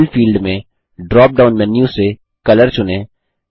fill field में drop down menu से colour चुनें